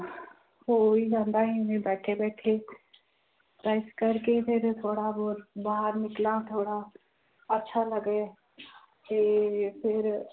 ਹੋ ਹੀ ਜਾਂਦਾ ਹੈ ਇਵੇਂ ਬੈਠੇ ਬੈਠੇ ਤੇ ਇਸ ਕਰਕੇ ਫਿਰ ਥੋੜ੍ਹਾ ਬਹੁਤ ਬਾਹਰ ਨਿਕਲਾਂ ਥੋੜ੍ਹਾ ਅੱਛਾ ਲੱਗੇ ਕਿ ਫਿਰ